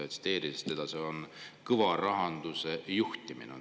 Tsiteerin teda: "See on kõva rahanduse juhtimine.